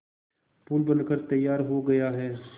पुल बनकर तैयार हो गया है